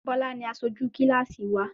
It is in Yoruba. Bọ́lá ni aṣojú kílàsì wà.